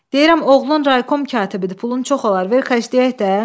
Deyirəm, oğlun Raykom katibidir, pulun çox olar, ver xərcləyək də.